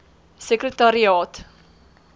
sekretariaat